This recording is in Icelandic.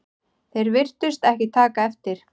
Þeir virtust ekki taka eftir